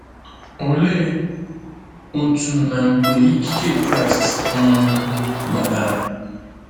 Olee otú na mgbe ikike Kraịst um gbatara?